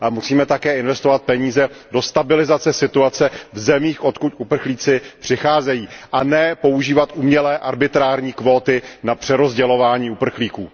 A musíme také investovat peníze do stabilizace situace v zemích, odkud uprchlíci přicházejí, a nikoli používat umělé arbitrární kvóty na přerozdělování uprchlíků.